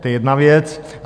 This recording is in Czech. To je jedna věc.